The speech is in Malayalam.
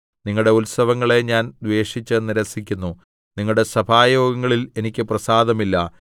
നിങ്ങളുടെ ഉത്സവങ്ങളെ ഞാൻ ദ്വേഷിച്ച് നിരസിക്കുന്നു നിങ്ങളുടെ സഭായോഗങ്ങളിൽ എനിക്ക് പ്രസാദമില്ല